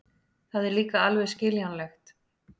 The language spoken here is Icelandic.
Það er líka alveg skiljanlegt.